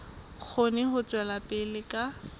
kgone ho tswela pele ka